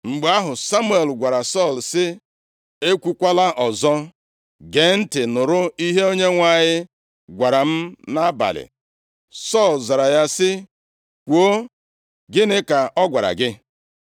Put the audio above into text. Mgbe ahụ Samuel gwara Sọl sị, “Ekwukwala ọzọ! Gee ntị nụrụ ihe Onyenwe anyị gwara m nʼabalị!” Sọl zara ya sị, “Kwuo, gịnị ka ọ gwara gị?”